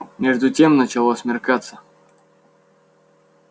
между тем начало смеркаться